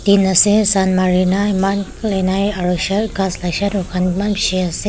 ase sun Mari kina eman nai aru shel gass khan eman bisi ase.